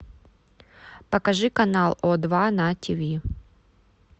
покажи канал о два на тв